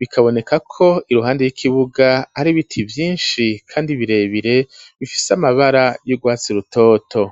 bikaboneka ko iruhande y'ikibuga hari biti vyishi kandi birebire bifise amabara y'urwatsi rutoto.